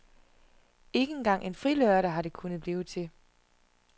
Ikke engang en frilørdag har det kunnet blive til.